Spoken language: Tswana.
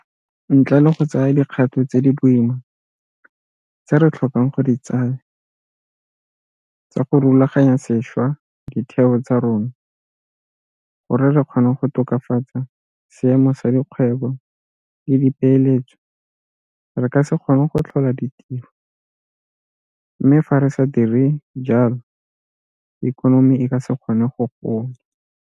Ntle le go tsaya dikgato tse di boima tse re tlhokang go di tsaya tsa go rulaganya sešwa ditheo tsa rona gore re kgone go tokafatsa seemo sa dikgwebo le dipeeletso re ka se kgone go tlhola ditiro mme fa re sa dire jalo ikonomi e ka se kgone go gola.